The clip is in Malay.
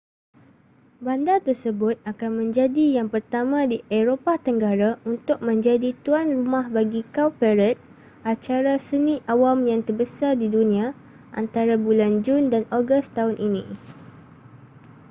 bandar tersebut akan menjadi yang pertama di eropah tenggara untuk menjadi tuan rumah bagi cowparade acara seni awam yang terbesar di dunia antara bulan jun dan ogos tahun ini